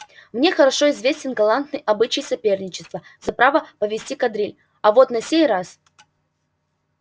мне хорошо известен галантный обычай соперничества за право повести кадриль а вот на сей раз